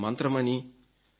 ఇది మా మంత్రమని